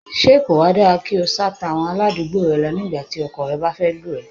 Ṣé kò wa dára kí o sá'to àwọn aládùúgbò rẹ lọ ní ìgbà tí ọkọ rẹ bá fẹ́ lù ẹ́?